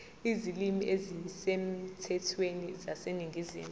izilimi ezisemthethweni zaseningizimu